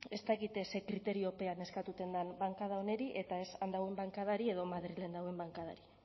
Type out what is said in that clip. ez dakit ze kriteriopean eskatzen den bankada honeri eta ez han dagoen bankadari edo madrilen dagoen bankadari